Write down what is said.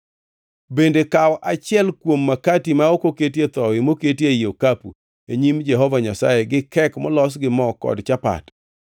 Bende kaw achiel kuom makati ma ok oketie thowi moketi ei okapu e nyim Jehova Nyasaye gi kek molos gi mo kod chapat.